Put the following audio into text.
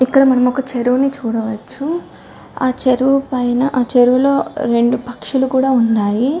ఇక్కడ మనం ఒక చెరువు చూడవచ్చు ఆ చెరువు పైన చెరువులో రెండు పక్షులు కూడా ఉన్నాయి .